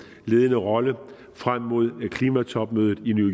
ledende rolle frem mod klimatopmødet i new